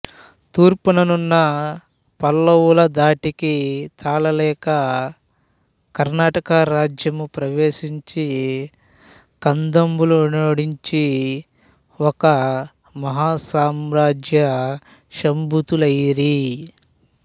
తూర్పుననున్న పల్లవుల ధాటికి తాళలేక కర్ణాట రాజ్యము ప్రవేశించి కదంబులనోడించి ఒక మహాసామ్రాజ్యసంభూతులైరి